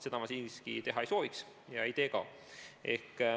Seda ma siiski teha ei sooviks ega tee ka.